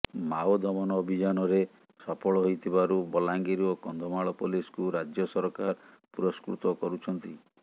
Mao ଦମନ ଅଭିଯାନରେ ସଫଳ ହୋଇଥିବାରୁ ବଲାଙ୍ଗୀର ଓ କନ୍ଧମାଳ ପୋଲିସକୁ ରାଜ୍ୟ ସରକାର ପୁରସ୍କୃତ କରୁଛନ୍ତି